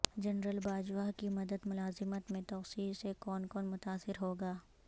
general Bajwa کی مدت ملازمت میں توسیع سے کون کون متاثر ہو گا